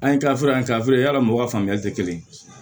An ye kilaforo in kɛ fila ye yala mɔgɔw ka faamuyali te kelen ye